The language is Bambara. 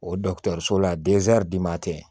O dɔgɔtɔrɔso la tɛ